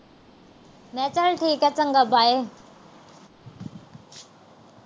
ਮੈਂ ਕਹਾ ਚਲ ਠੀਕ ਆ। ਚੰਗਾ bye